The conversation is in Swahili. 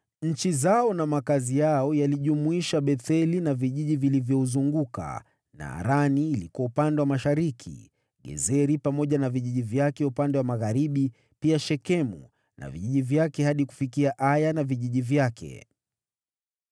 Nchi zao na makazi yao yalijumuisha Betheli na vijiji vilivyouzunguka, Naarani ilikuwa upande wa mashariki, Gezeri pamoja na vijiji vyake upande wa magharibi, pia Shekemu na vijiji vyake hadi kufikia Aya na vijiji vyake.